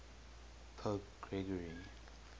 pope gregory